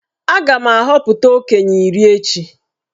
Aga m ahọpụta okenye iri echi.